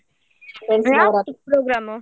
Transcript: ಯಾವತ್ತು program ?